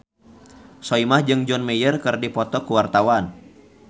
Soimah jeung John Mayer keur dipoto ku wartawan